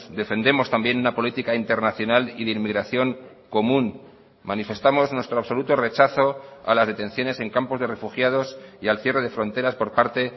defendemos también una política internacional y de inmigración común manifestamos nuestro absoluto rechazo a las detenciones en campos de refugiados y al cierre de fronteras por parte